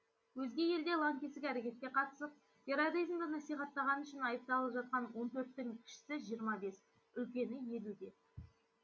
өзге елде лаңкестік әрекетке қатысып терроризмді насихаттағаны үшін айыпталып жатқан он төрттің кішісі жиырма бес үлкені елуде